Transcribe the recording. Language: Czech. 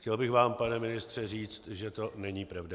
Chtěl bych vám, pane ministře, říct, že to není pravda.